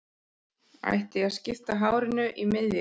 Ætti ég að skipta hárinu í miðju?